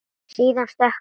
Síðan stökk hann.